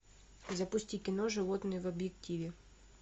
запусти кино животные в объективе